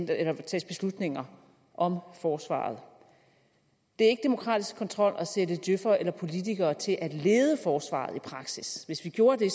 tages beslutninger om forsvaret det er ikke demokratisk kontrol at sætte djøfere eller politikere til at lede forsvaret i praksis hvis vi gjorde det